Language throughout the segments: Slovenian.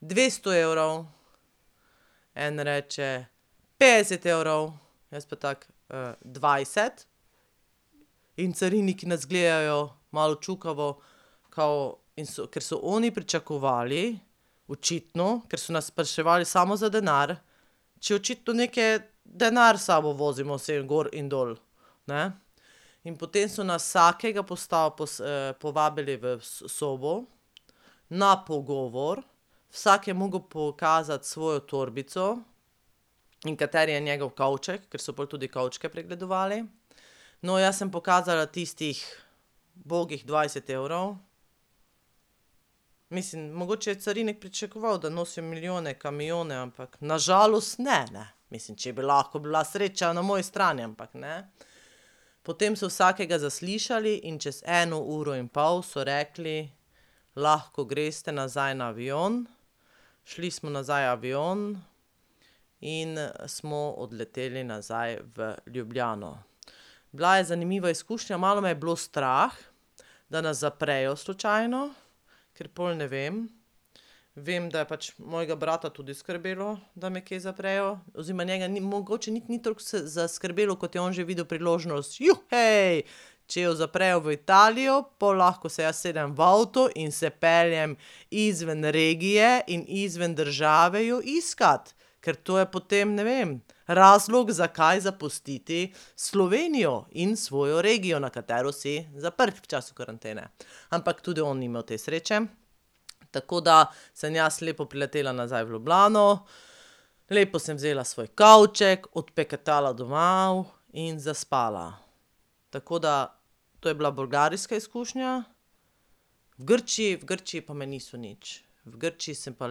"Dvesto evrov." En reče: "Petdeset evrov." Jaz pa tako: dvajset." In cariniki nas gledajo, malo čukavo, kao in so, kar so oni pričakovali, očitno, ker so nas spraševali samo za denar, če očitno neke denar sabo vozimo gor in dol, ne. In potem so nas vsakega povabili v sobo na pogovor, vsak je mogel pokazati svojo torbico in kateri je njegov kovček, ker so pol tudi kovčke pregledovali. No, jaz sem pokazala tistih bogih dvajset evrov. Mislim, mogoče je carinik pričakoval, da nosim milijone kamione, ampak na žalost ne, ne, mislim, če bi lahko bila sreča na moji strani, ampak ne. Potem so vsakega zališali in čez eno uro in pol so rekli: "Lahko greste nazaj na avion." Šli smo nazaj v avion in smo odleteli nazaj v Ljubljano. Bila je zanimiva izkušnja, malo me je bilo strah, da nas zaprejo slučajno, ker pol ne vem. Vem, da je pač mojega brata tudi skrbelo, da me kje zaprejo, oziroma njega ni mogoče niti ni toliko zaskrbelo, kot je on že videl priložnost: če jo zaprejo v Italijo, pol lahko se jaz usedem v avto in se peljem izven regije in izven države jo iskat, ker to je potem, ne vem ..." Razlog, zakaj zapustiti Slovenijo in svojo regijo, na katero si zaprt v času karantene. Ampak tudi on ni imel te sreče. Tako da sem jaz lepo priletela nazaj v Ljubljano, lepo sem vzela svoj kovček, odpeketala domov in zaspala. Tako da to je bila bolgarska izkušnja, v Grčiji, v Grčiji pa me niso nič. V Grčiji sem pa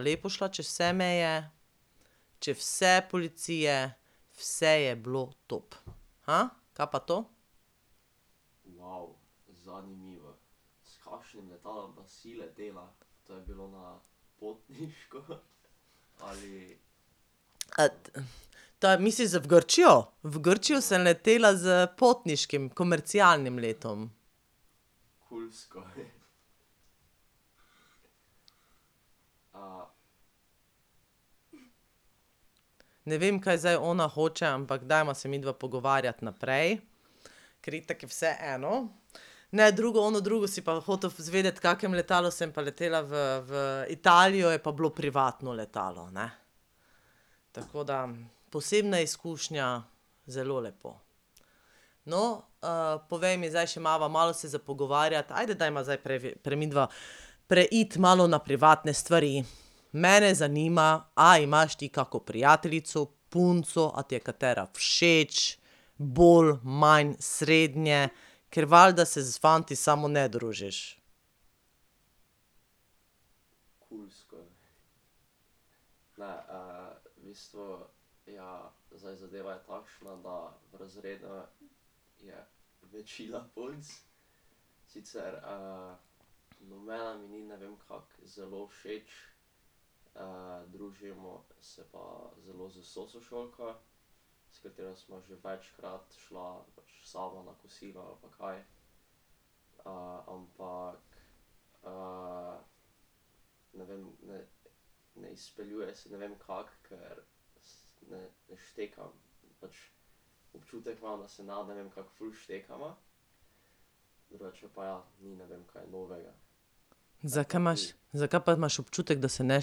lepo šla čez vse meje, čez vse policije, vse je bilo top. kaj pa to? , to misliš za v Grčijo? V Grčijo sem letela s potniškim, komercialnim letom. Ne vem, kaj zdaj ona hoče, ampak dajva se midva pogovarjati naprej. Ker itak je vseeno. Ne drugo, ono drugo si pa hotel izvedeti, v kakem letalu sem pa letela v, v Italijo, je pa bilo privatno letalo, ne. Tako, da posebna izkušnja, zelo lepo. No, povej mi zdaj še, imava malo se za pogovarjati, ajde dajva zdaj midva, preiti malo na privatne stvari. Mene zanima, a imaš ti kako prijateljico, punco, a ti je katera všeč bolj, manj, srednje, ker valjda se s fanti samo ne družiš. Zakaj imaš, zakaj pa imaš občutek, da se ne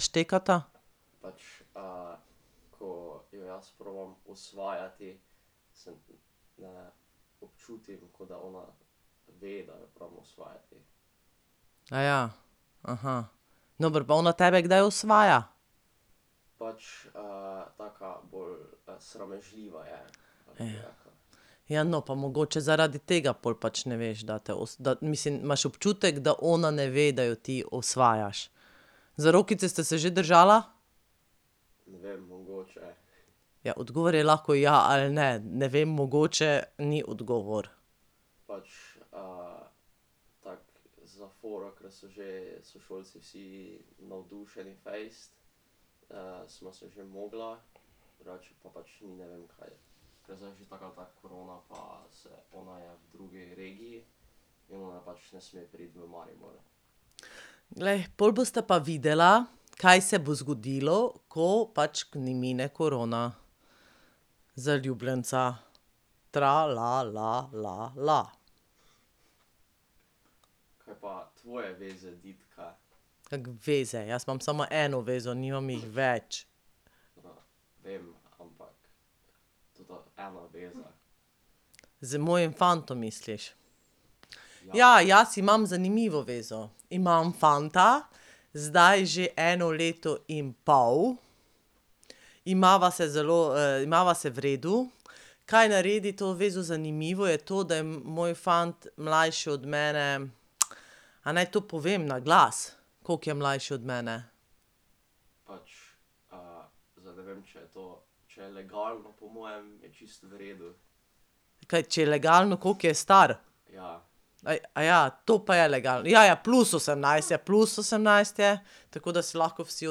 štekata? Dobro, pa ona tebe kdaj osvaja? Ja, no, pa mogoče zaradi tega pol pač ne veš, da te da mislim, imaš občutek, da ona ne ve, da jo ti osvajaš? Za rokice sta se že držala? Ja, odgovor je lahko ja ali ne, ne vem, mogoče, ni odgovor. Glej, pol bosta pa videla, kaj se bo zgodilo, ko pač mine korona. Zaljubljenca. Kako veze, jaz imam samo eno vezo, nimam jih več. Z mojim fantom misliš. Ja, jaz imam zanimivo zvezo. Imam fanta, zdaj že eno leto in pol. Imava se zelo imava se v redu. Kaj naredi to zvezo zanimivo je to, da je moj fant mlajši od mene ... A naj to povem na glas, koliko je mlajši od mene? Kaj, če je legalno, koliko je star? Kaj, to pa je ja ja, plus osemnajst, plus osemnajst je, tako da si lahko vsi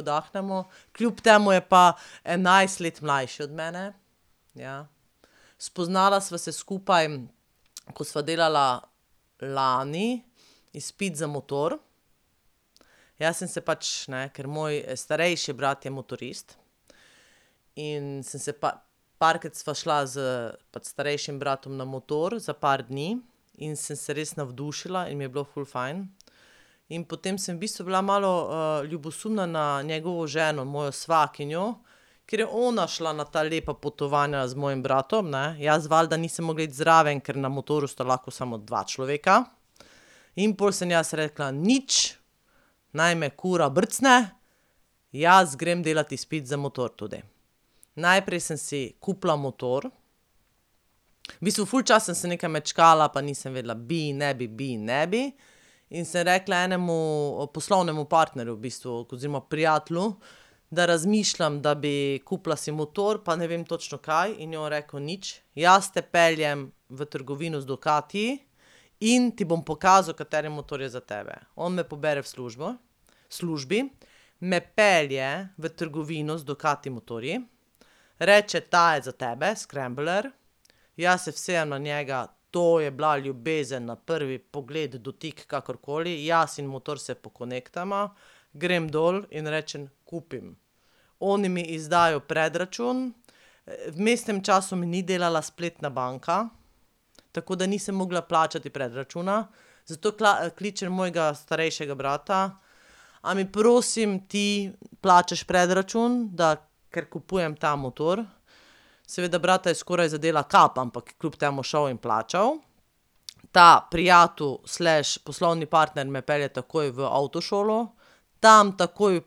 oddahnemo. Kljub temu je pa enajst let mlajši od mene, ja. Spoznala sva se skupaj, ko sva delala lani izpit za motor. Jaz sem se pač, ne, ker moj starejši brat je motorist in sem se parkrat sva šla s pač starejšim bratom na motor, za par dni in sem se res navdušila in mi je bilo ful fajn. In potem sem v bistvu bila malo ljubosumna na njegovo ženo, mojo svakinjo, ker je ona šla na ta lepa potovanja z mojim bratom, ne, jaz valjda nisem mogla iti zraven, ker na motorju sta lahko samo dva človeka. In pol sem jaz rekla: "Nič, naj me kura brcne, jaz grem delat izpit za motor tudi." Najprej sem si kupila motor. V bistvu ful časa sem nekaj mečkala pa nisem vedela bi, ne bi, bi, ne bi, in sem rekla enemu poslovnemu partnerju v bistvu, oziroma prijatelju, da razmišljam, da bi kupila si motor, pa ne vem točno kaj, in je on rekel: "Nič, jaz te peljem v trgovino z Ducatiji in ti bom pokazal, kateri motor je za tebe." On me pobere v službo, službi, me pelje v trgovino z Ducati motorji, reče: "Ta je za tebe, Scrambler." Jaz se usedem na njega, to je bila ljubezen na prvi pogled, dotik, kakorkoli, jaz in motor se pokonektava, grem dol in rečem: "Kupim." Oni mi izdajo predračun, v vmesnem času mi ni delala spletna banka, tako da nisem mogla plačati predračuna, zato kličem mojega starejšega brata: "A mi prosim ti plačaš predračun, da, ker kupujem ta motor." Seveda brata je skoraj zadela kap, ampak kljub temu šel in plačal. Ta prijatelj slash poslovni partner me pelje takoj v avtošolo, tam takoj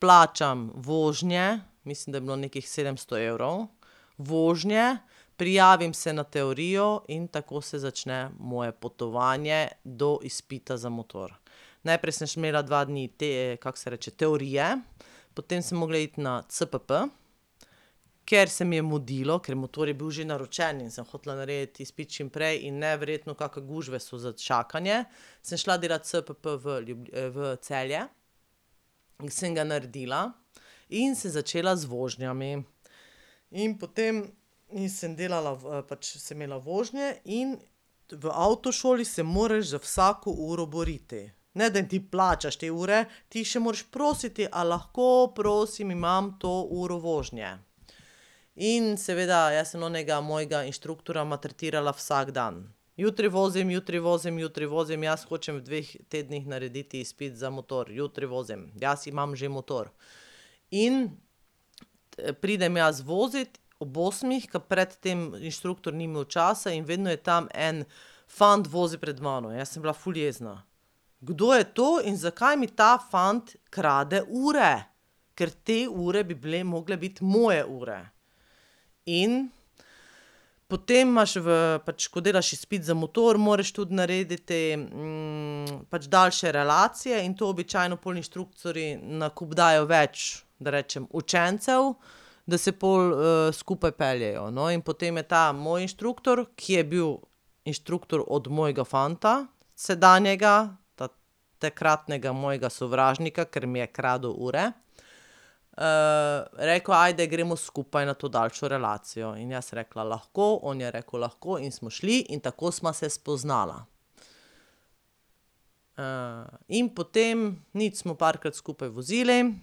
plačam vožnje, mislim, da je bilo nekih sedemsto evrov. Vožnje, prijavim se na teorijo in tako se začne moje potovanje do izpita za motor. Najprej sem še imela dva dni te, kako se reče, teorije, potem sem mogla iti na cpp. Ker se mi je mudilo, ker motor je bil že naročen in sem hotela narediti izpit čim prej, in neverjetno kake gužve so za čakanje, sem šla delat cpp v v Celje in sem ga naredila in sem začela z vožnjami. In potem, in sem delala v, pač sem imela vožnje, v avtošoli se moraš za vsako uro boriti. Ne da jim ti plačaš te ure, ti še moraš prositi: "A lahko prosim imam to uro vožnje?" In seveda jaz sem onega mojega inštruktorja maltretirala vsak dan. Jutri vozim, jutri vozim, jutri vozim, jaz hočem v dveh tednih narediti izpit za motor, jutri vozim, jaz imam že motor. In pridem jaz vozit, ob osmih, ka pred tem inštruktor ni imel časa in vedno je tam en fant vozil pred mano in jaz sem bila ful jezna. Kdo je to in zakaj mi ta fant krade ure? Ker te ure bi bile mogle biti moje ure. In potem imaš v, pač ko delaš izpit za motor, moraš tudi narediti te pač daljše relacije in to običajno pol inštruktorji na kup dajo več, da rečem učencev, da se pol skupaj peljejo. No, in potem je ta moj inštruktor, ki je bil inštruktor od mojega fanta sedanjega, takratnega mojega sovražnika, ker mi je kradel ure, rekel: "Ajde, gremo skupaj na to daljšo relacijo." In jaz sem rekla: "Lahko." On je rekel: "Lahko." In smo šli in tako sva se spoznala. in potem, nič, smo parkrat skupaj vozili,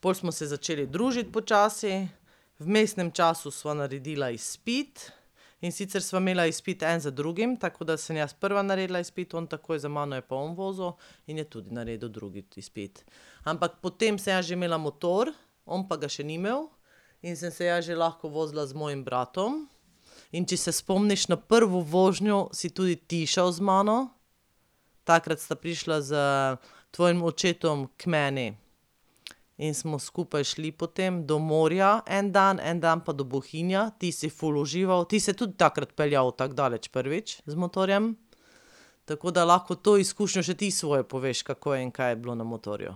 pol smo se začeli družiti počasi, v vmesnem času sva naredila izpit, in sicer sva imela izpit en za drugim, tako, da sem jaz prva naredila izpit, on takoj za mano je pa on vozil in je tudi naredil drugi izpit. Ampak potem sem jaz že imela motor, on pa ga še ni imel, in sem se jaz že lahko vozila z mojim bratom. In če se spomniš na prvo vožnjo, si tudi ti šel z mano. Takrat sta prišla s tvojim očetom k meni in smo skupaj šli potem do morja en dan, en dan pa do Bohinja. Ti si ful užival, ti se tudi takrat peljal tako daleč prvič z motorjem. Tako da lahko to izkušnjo še ti svojo poveš, kako in kaj je bilo na motorju.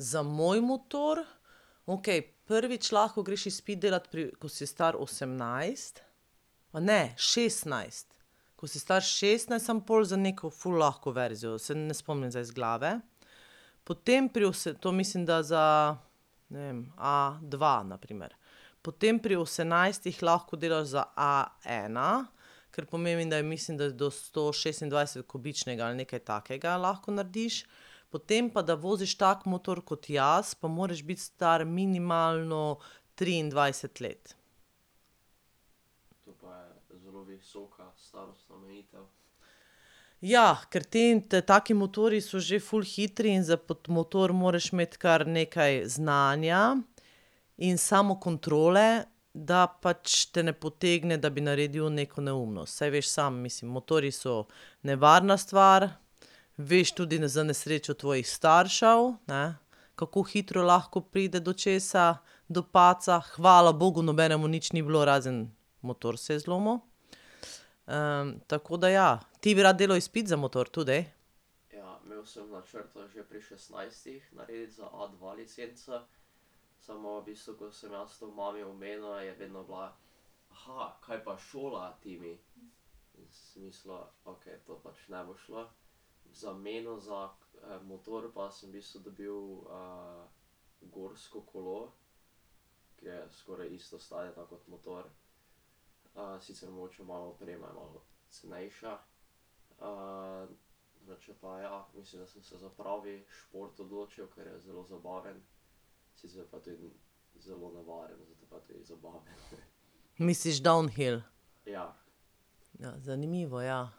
Za moj motor? Okej, prvič lahko greš izpit delat pri, ko si star osemnajst, a ne, šestnajst. Ko si star šestnajst, samo pol za neko ful lahko verzijo, se ne spomnim zdaj z glave. Potem pri to mislim, da za, ne vem, a dva na primer. Potem pri osemnajstih lahko delaš za a ena, kar pomeni, da je mislim, da do stošestindvajsetkubičnega ali nekaj takega lahko narediš. Potem pa da voziš tak motor kot jaz, pa moraš biti star minimalno triindvajset let. Ja, ker taki motorji so že ful hitri in za pod motor moraš imeti kar nekaj znanja in samokontrole, da pač te ne potegne, da bi naredil neko neumnost, saj veš sam, mislim motorji so nevarna stvar. Veš tudi za nesrečo tvojih staršev, ne, kako hitro lahko pride do česa, do padca, hvala bogu nobenemu nič ni bilo, razen motor se je zlomil. tako da ja, ti bi rad delal izpit za motor tudi? Misliš downhill? Ja, zanimivo, ja.